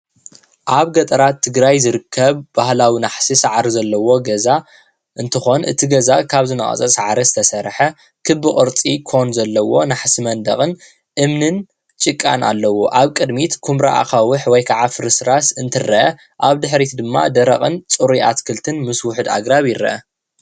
ኣብ ገጠራት ትግራይ ዝርከብ ባህላዊ ናሕሲ ሳዕሪ ዘሎዎ ገዛ እንትኮን እቲ ገዛ ካብ ዝነቀፀ ሳዕሪ ዝተሰረሓ ክቢ ቅረፂ ኮን ዘለዎ ንሓሲ መንደቅ እምንን ጭቃን ኣለዎ። ኣብ ቅድሚት ኩምራ ኣካውሕ ፍርስራስ እንትረኣ ኣብ ድሕሪት ድማ ደረቅን ፅሩይ ኣትክልትን ምስ ውሕድ ኣግራብን ይረአ።